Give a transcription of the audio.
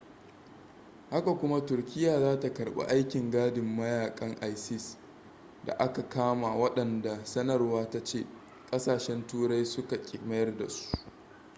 haka kuma turkiyya za ta karbi aikin gadin mayakan isis da aka kama waɗanda sanarwar ta ce kasashen turai suka ki mayar da su